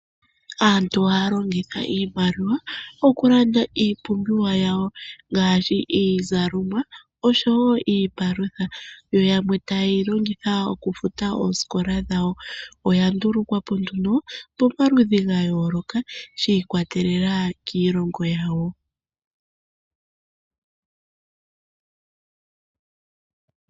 Aantu ohaya longitha iimaliwa okulanda iipumbiwa yawo, ngaashi iizalomwa osho wo iipalutha. Yo yamwe taye yi longitha okufuta oosikola dhawo. Oya nduulukwapo nduno pomaludhi gayooloka , shiikwatelela kiilongo yawo.